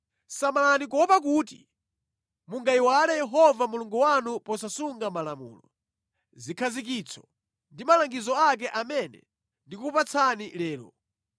Samalani kuopa kuti mungayiwale Yehova Mulungu wanu posasunga malamulo, zikhazikitso ndi malangizo ake amene ndikukupatsani lero,